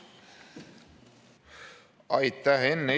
Aitäh!